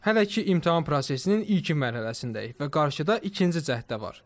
Hələ ki imtahan prosesinin ilkin mərhələsindəyik və qarşıda ikinci cəhddə var.